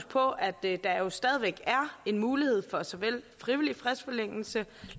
på at der jo stadig væk er en mulighed for frivillig fristforlængelse